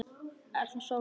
En það sváfu ekki allir.